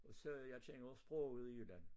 Og så jeg kender sproget i Jylland